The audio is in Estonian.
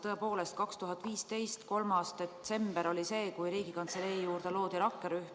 Tõepoolest, 3. detsember 2015 oli see päev, kui Riigikantselei juurde loodi rakkerühm.